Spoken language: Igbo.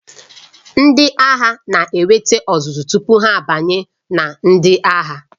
Ndị agha na-enweta ọzụzụ tupu ha abanye na ndị agha.